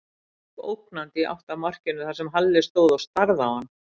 Hann gekk ógnandi í átt að markinu þar sem Halli stóð og starði á hann.